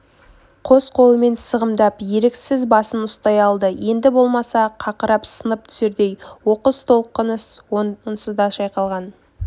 қос қолымен сығымдап еріксіз басын ұстай алды енді болмаса қақырап сынып түсердей оқыс толқыныс онсыз да шайқалған